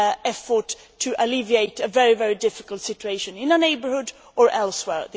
effort to alleviate a very difficult situation in our neighbourhood or elsewhere.